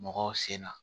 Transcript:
Mɔgɔw sen na